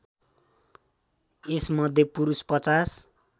यस मध्ये पुरुष ५०